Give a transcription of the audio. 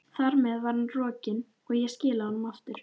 Þar með var hann rokinn, og ég skilaði honum aftur.